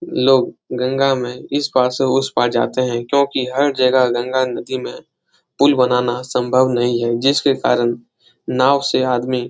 लोग गंगा में इस पार से उस पार जाते है क्योंकी हर जगह गंगा नदी में पुल बनाना संभव नहीं है जिसके कारण नाव से आदमी --